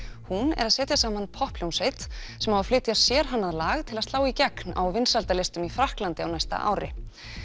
hún er að setja saman popphljómsveit sem á að flytja sérhannað lag til slá í gegn á vinsældarlistum í Frakklandi á næsta ári